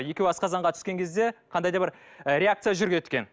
екеуі асқазанға түскен кезде қандай да бір ы реакция жүреді екен